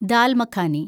dal makhani